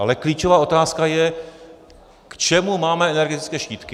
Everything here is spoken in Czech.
Ale klíčová otázka je, k čemu máme energetické štítky.